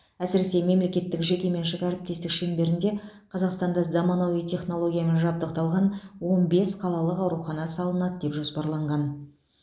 әсіресе мемлекеттік жекеменшік әріптестік шеңберінде қазақстанда заманауи технологиямен жабдықталған он бес қалалық аурухана салынады деп жоспарланған